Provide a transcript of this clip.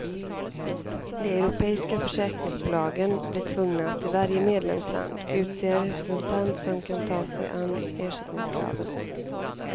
De europeiska försäkringsbolagen blir tvungna att i varje medlemsland utse en representant som kan ta sig an ersättningskraven.